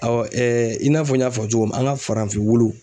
i n'a fɔ n y'a fɔ cogo min an ŋa farafin wulu